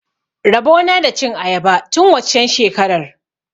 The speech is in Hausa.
Rabo na da cin ayaba tun waccen shekarar.